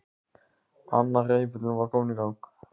Annar hreyfillinn var kominn í gang.